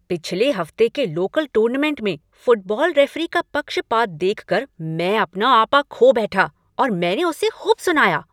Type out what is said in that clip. पिछले हफ्ते के लोकल टूर्नामेंट में फुटबॉल रेफरी का पक्षपात देखकर मैं अपना आपा खो बैठा और मैंने उसे खूब सुनाया।